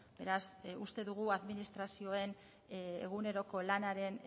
beraz uste dugu administrazioen eguneroko